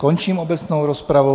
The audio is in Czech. Končím obecnou rozpravu.